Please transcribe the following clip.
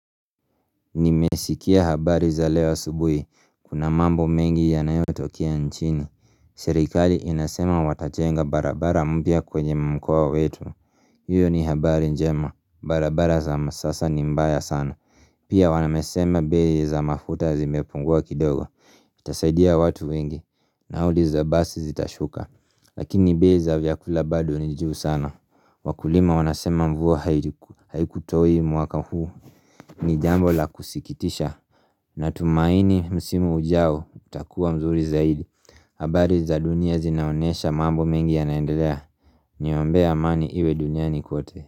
Nimesikia habari za leo asubuhi, kuna mambo mengi ya nayotokea nchini Serikali inasema watachenga barabara mpya kwenye mkoa wetu hiyo ni habari njema, barabara za masasa ni mbaya sana Pia wamesema bei za mafuta zimepungua kidogo Itasaidia watu wengi, nauli za basi zitashuka Lakini bei za vyakula bado ni juu sana. Wakulima wanasema mvua haikutoi mwaka huu ni jambo la kusikitisha Natumaini msimu ujao utakuwa mzuri zaidi habari za dunia zinaonesha mambo mengi yanaendelea. Niombee amani iwe duniani kote.